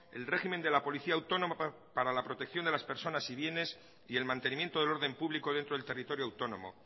el régimen de la policía autónoma para la protección de las personas y bienes y el mantenimiento del orden público dentro del territorio autónomo